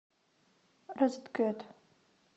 розеткед